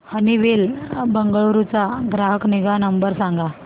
Honeywell Bengaluru चा ग्राहक निगा नंबर सांगा